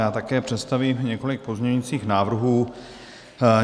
Já také představím několik pozměňujících návrhů.